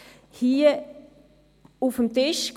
Wir hatten die Anträge hier auf dem Tisch.